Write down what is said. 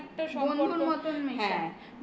হ্যাঁ বন্ধুর মতো মেশো।